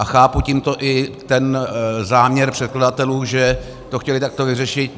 A chápu tímto i ten záměr předkladatelů, že to chtěli takto vyřešit.